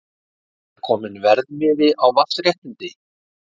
Er kominn verðmiði á vatnsréttindi?